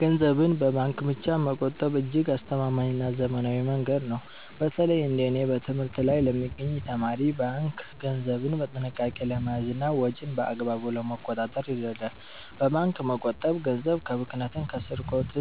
ገንዘብን በባንክ ብቻ መቆጠብ እጅግ አስተማማኝና ዘመናዊ መንገድ ነው። በተለይ እንደ እኔ በትምህርት ላይ ለሚገኝ ተማሪ፣ ባንክ ገንዘብን በጥንቃቄ ለመያዝና ወጪን በአግባቡ ለመቆጣጠር ይረዳል። በባንክ መቆጠብ ገንዘብ ከብክነትና ከስርቆት